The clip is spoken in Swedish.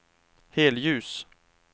helljus